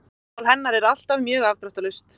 Myndmál hennar er alltaf mjög afdráttarlaust.